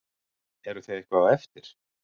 Eruð þið eitthvað á eftir?